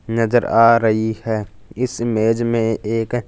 नजर आ रही है इस इमेज में एक--